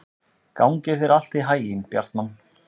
Gangi þér allt í haginn, Bjartmann.